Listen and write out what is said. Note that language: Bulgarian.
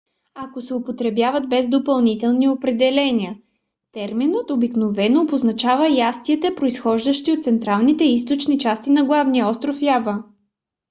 но ако се употребява без допълнителни определения терминът обикновено обозначава ястията произхождащи от централните и източните части на главния остров ява